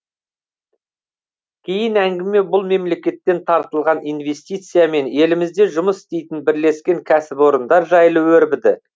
кейін әңгіме бұл мемлекеттен тартылған инвестиция мен елімізде жұмыс істейтін бірлескен кәсіпорындар жайлы өрбіді